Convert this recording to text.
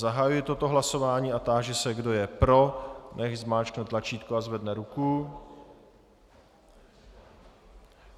Zahajuji toto hlasování a táži se, kdo je pro, nechť zmáčkne tlačítko a zvedne ruku.